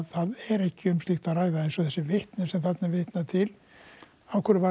það er ekki um slíkt að ræða eins og þessi vitni sem er þarna vitnað til af hverju var